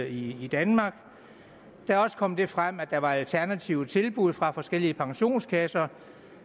i danmark det er også kommet frem at der var alternative tilbud fra forskellige pensionskasser